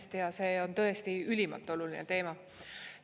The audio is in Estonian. Hästi hea, see on tõesti ülimalt oluline teema.